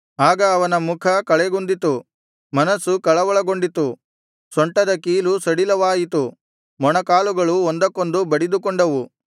ಆಗ ಅವನ ಮುಖ ಕಳೆಗುಂದಿತು ಮನಸ್ಸು ಕಳವಳಗೊಂಡಿತು ಸೊಂಟದ ಕೀಲು ಸಡಿಲವಾಯಿತು ಮೊಣಕಾಲುಗಳು ಒಂದಕ್ಕೊಂದು ಬಡಿದುಕೊಂಡವು